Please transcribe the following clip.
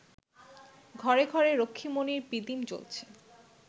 ঘরে ঘরে রক্ষ্মীমণির পিদিম জ্বলছে